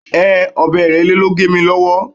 Ehn, ọ̀bẹ Ìrẹ́lé ló gé mi lọ́wọ́.